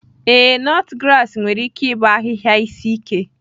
Ee, nutgrass nwere ike ịbụ ahịhịa isi ike.